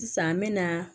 Sisan n me na